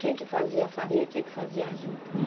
Quem que fazia a farinha e quem que fazia a juta?